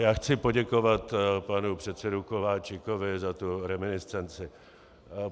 Já chci poděkovat panu předsedovi Kováčikovi za tu reminiscenci.